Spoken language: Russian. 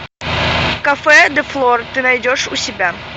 кафе де флор ты найдешь у себя